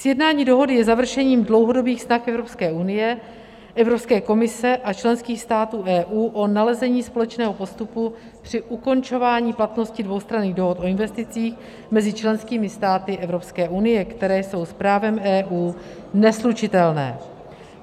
Sjednání dohody je završením dlouhodobých vztahů Evropské unie, Evropské komise a členských států EU o nalezení společného postupu při ukončování platnosti dvoustranných dohod o investicích mezi členskými státy Evropské unie, které jsou s právem EU neslučitelné.